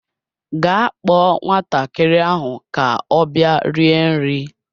Gaa kpọọ nwatakịrị ahụ ka ọ bịa rie nri!